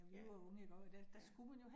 Ja, ja